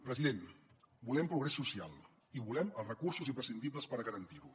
president volem progrés social i volem els recursos imprescindibles per garantir ho